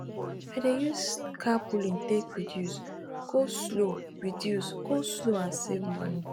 i dey use carpooling take reduce go slow reduce go slow and save money